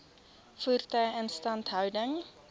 voertuie instandhouding